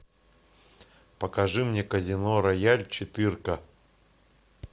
покажи мне казино рояль четыре ка